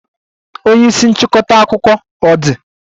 Onye isi nchịkọta akụkọ ọ dị?